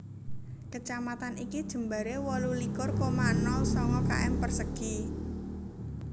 Kecamatan iki jembaré wolu likur koma nol sanga km persegi